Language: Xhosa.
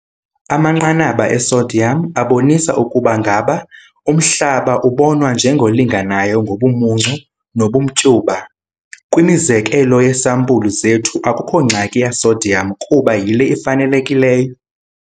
Amanqanaba e-sodium abonisa ukuba ngaba umhlaba ubonwa njengolinganayo ngobumuncu nobumtyuba. Kwimizekelo yeesampulu zethu akukho ngxaki ya-sodium kuba yile ifanelekileyo.